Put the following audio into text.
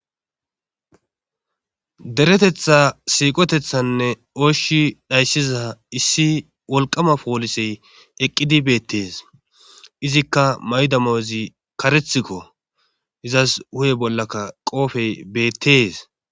deretetha siiqotethanne ooshi dhayssiza issi wolqama poolisey eqqidi beettees izikka maydamoozi karethikko izas huhe bollaka qoofey beettees